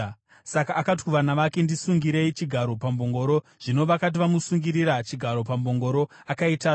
Saka akati kuvana vake, “Ndisungirirei chigaro pambongoro.” Zvino vakati vamusungirira chigaro pambongoro, akaitasva.